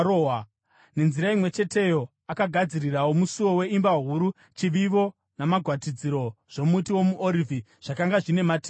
Nenzira imwe cheteyo akagadzirirawo musuo weimba huru chivivo namagwatidziro zvomuti womuorivhi zvakanga zvine mativi mana.